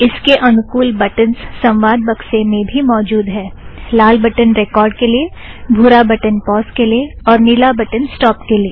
इसके अनुकुल बटन्ज़ संवाद बक्से में भी मौजुद है - लाल बटन रेकॉर्ड़ के लिए भूरा बटन पॉज़ के लिए और नीला बटन स्टोप के लिए